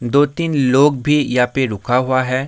दो-तीन लोग भी या पे रुका हुआ है।